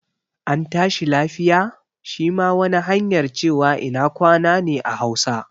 An tashi lafiya' shi ma wani hanyar cewa ina kwana ne a hausa